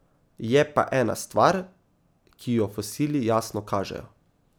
Je pa ena stvar, ki jo fosili jasno kažejo.